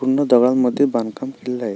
पूर्ण दगडांमध्ये बांधकाम केलेल आहे.